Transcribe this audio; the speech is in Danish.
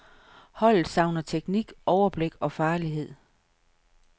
Holdet savner teknik, overblik og farlighed.